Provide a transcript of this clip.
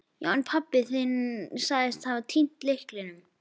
Já, en pabbi þinn sagðist hafa týnt lyklinum.